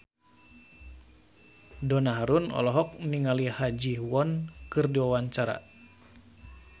Donna Harun olohok ningali Ha Ji Won keur diwawancara